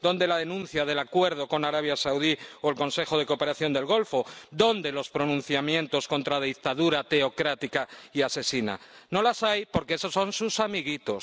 ¿Dónde la denuncia del acuerdo con Arabia Saudí o el Consejo de Cooperación del Golfo? ¿Dónde los pronunciamientos contra la dictadura teocrática y asesina? No las hay porque esos son sus amiguitos.